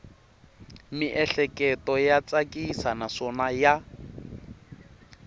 miehleketo ya tsakisa naswona ya